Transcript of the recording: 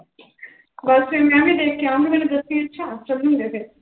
ਬਸ ਫਿਰ ਮੈਂ ਵੀ ਦੇਖ ਕੇ ਆਊਂਗੀ ਮੈਨੂੰ ਦੱਸੀ ਅੱਛਾ, ਚੱਲਾਂਗੇ ਫਿਰ।